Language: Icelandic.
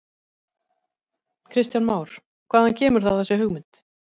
Kristján Már: Hvaðan kemur þá þessi hugmynd?